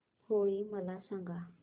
होळी मला सांगा